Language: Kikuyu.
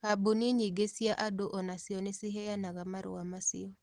Kambuni nyingĩ cia andu o nacio nĩ ciheanaga marũa macio.